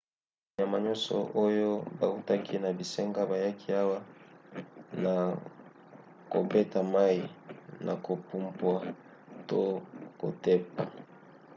banyama nyonso oyo bautaki na bisanga bayaki awa na kobeta mai na kopumpwa to kotepa